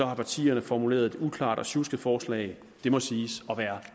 har partierne formuleret et uklart og sjuskede forslag det må siges at være